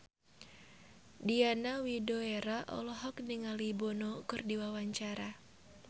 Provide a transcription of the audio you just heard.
Diana Widoera olohok ningali Bono keur diwawancara